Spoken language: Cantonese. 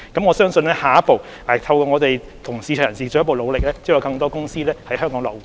我相信下一步，透過我們和市場人士進一步努力，將有更多保險公司在香港落戶。